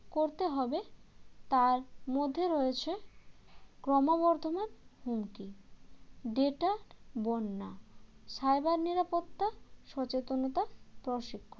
করতে হবে তার মধ্যে রয়েছে ক্রমবর্ধমান হুমকি data বন্যা cyber নিরাপত্তা সচেতনতা প্রশিক্ষণ